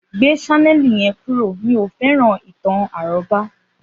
Gbé sánẹ̀lì yen kúrò, mí ọ fẹ́ràn ìtàn àrọ́bá